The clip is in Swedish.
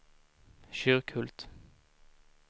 Kyrkhult